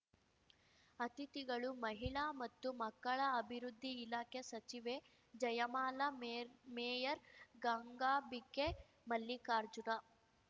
ಅತಿಥಿಗಳು ಮಹಿಳಾ ಮತ್ತು ಮಕ್ಕಳ ಅಭಿವೃದ್ಧಿ ಇಲಾಖೆ ಸಚಿವೆ ಜಯಮಾಲಾ ಮೇರ್ ಮೇಯರ್‌ ಗಂಗಾಬಿಕೆ ಮಲ್ಲಿಕಾರ್ಜುನ